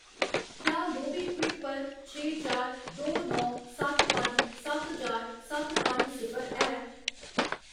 क्या मोबीक्विक पर छे चार दो नौ सत्त पंज सत्त चार सत्त पंज सिफर है?